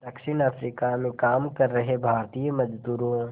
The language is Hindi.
दक्षिण अफ्रीका में काम कर रहे भारतीय मज़दूरों